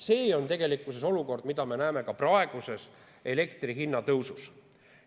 See on olukord, mida me näeme ka praeguses elektri hinna tõusus.